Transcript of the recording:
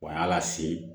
Wa yaala se